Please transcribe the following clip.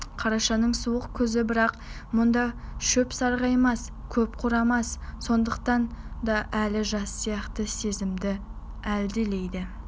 қарашаның суық күзі бірақ мұнда шөп сарғаймас көк қурамас сондықтан да әлі жаз сияқты сезімді әлдилейді